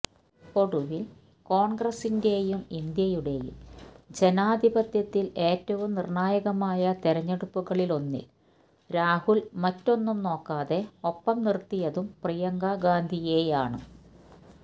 ഒടുവിൽ കോൺഗ്രസിന്റെയും ഇന്ത്യയുടെയും ജനാധിപത്യത്തിൽ ഏറ്റവും നിർണായകമായ തെരഞ്ഞെടുപ്പുകളിലൊന്നിൽ രാഹുൽ മറ്റൊന്നും നോക്കാതെ ഒപ്പം നിർത്തിയതും പ്രിയങ്കാഗാന്ധിയെയാണ്